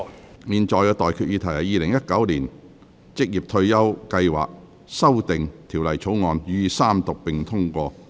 我現在向各位提出的待議議題是：《2019年職業退休計劃條例草案》予以三讀並通過。